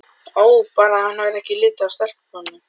Ó bara hann hefði ekki litið af stelpunum.